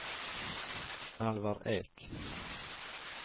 Alvar Ek